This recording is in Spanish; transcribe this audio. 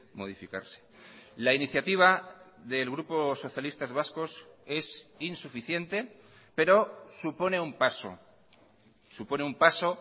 modificarse la iniciativa del grupo socialistas vascos es insuficiente pero supone un paso supone un paso